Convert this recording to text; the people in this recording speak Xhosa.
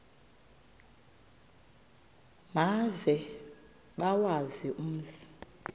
maze bawazi umzi